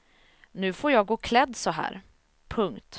Nu får jag gå klädd så här. punkt